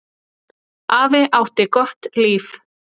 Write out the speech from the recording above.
Afi átti gott líf.